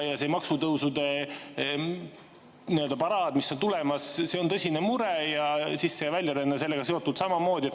See maksutõusude paraad, mis on tulemas, on tõsine mure ning sisse‑ ja väljaränne on sellega seotud.